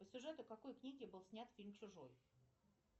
по сюжету какой книги был снят фильм чужой